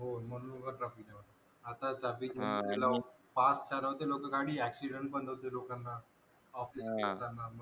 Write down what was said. ह म्हणून एवढ traffic वाढते आता आता traffic गेल्यावर पाच चार होते लो accident पण होते लोकांना office मधून येताना